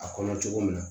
A kɔnɔ cogo min na